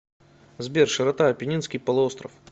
сбер широта апеннинский полуостров